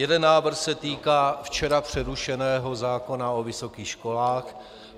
Jeden návrh se týká včera přerušeného zákona o vysokých školách.